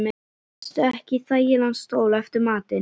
Sestu ekki í þægilegan stól eftir matinn.